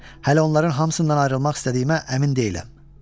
Hələ onların hamısından ayrılmaq istədiyimə əmin deyiləm.